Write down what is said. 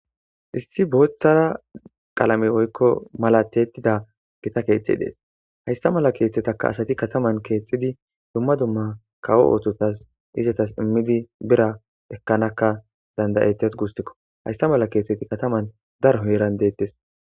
issi booththara qalame oykko mala tiyettida gita keeththe dees haysta mala keeththetaka asati kataman keethtidi dumma dumma kawo oothotas izatas immidi bira ekkanakka dandayettes guustikko haysta mala keeththeti kataman daro heran deettes